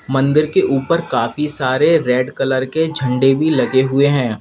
मंदिर के ऊपर काफी सारे रेड कलर के झंडे भी लगे हुए हैं।